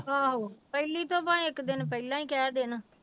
ਆਹੋ ਪਹਿਲੀ ਤੋਂ ਭਾਵੇਂ ਇੱਕ ਦਿਨ ਪਹਿਲਾਂ ਹੀ ਕਹਿ ਦੇਣ।